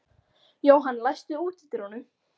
Jóhann, læstu útidyrunum.